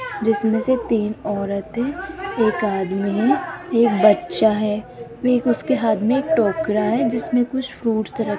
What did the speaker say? जिसमें से तीन औरतें एक आदमी एक बच्चा है उसके हाथ में टोकरा है जिसमें कुछ फ्रूट्स --